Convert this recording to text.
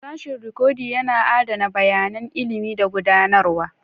Sashin Rikodi yana adana bayanan ilimi da gudanarwa.